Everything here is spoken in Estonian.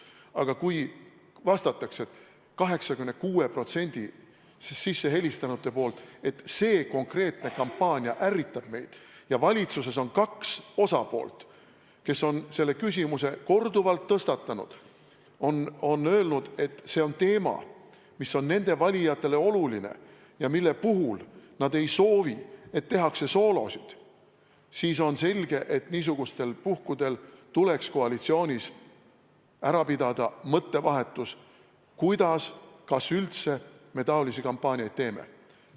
Aga kui 86% sissehelistanutest vastab, et see konkreetne kampaania ärritab meid, ja valitsuses on kaks osapoolt, kes on selle küsimuse korduvalt tõstatanud, on öelnud, et see on teema, mis on nende valijatele oluline ja mille puhul nad ei soovi, et tehakse soolosid, siis on selge, et niisugustel puhkudel tuleks koalitsioonis pidada mõttevahetus, kuidas ja kas üldse me selliseid kampaaniaid teeme.